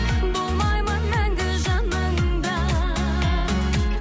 болмаймын мәңгі жаныңда